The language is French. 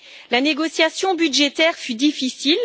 La négociation budgétaire fut difficile.